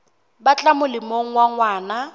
tla ba molemong wa ngwana